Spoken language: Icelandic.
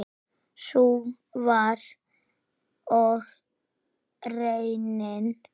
Sú var og raunin.